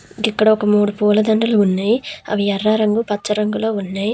ఇక్కడ ఒక మూడు పూలదండలు ఉన్నాయి అవి ఎర్ర రంగు పచ్చ రంగులో ఉన్నాయి.